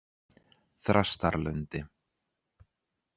Þrastarlundi